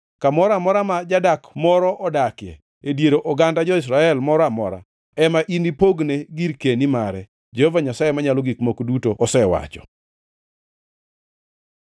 Kamoro amora ma jadak moro odakie e dier oganda jo-Israel moro amora ema inipogne girkeni mare,” Jehova Nyasaye Manyalo Gik Moko Duto osewacho.